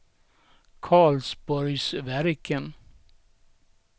Karlsborgsverken